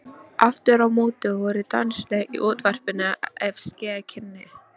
Aftur á móti voru danslög í útvarpinu ef ske kynni.